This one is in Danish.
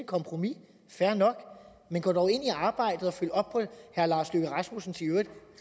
kompromis fair nok men gå dog ind i arbejdet og følg op på herre lars løkke rasmussens i øvrigt